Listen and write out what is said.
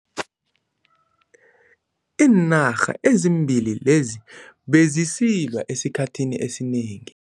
Iinarha ezimbili lezi bezisilwa esikhathini esinengi.